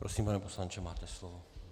Prosím, pane poslanče, máte slovo.